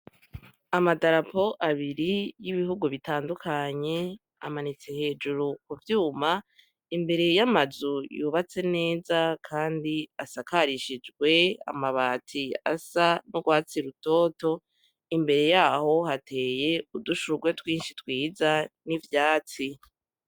Amadarapo abiri yibihugu bitandukanye amanitse hejuru kuvyuma imbere yamazu yubatse neza kandi asakarishijwe amabati asa nurwatsi rutoto imbere yaho hateye udushurwe twinshi twiza nivyatsi